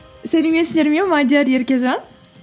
сәлеметсіздер ме мадиар еркежан